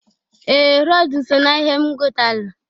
Ee! Rọd so na ihe m gọtalụ.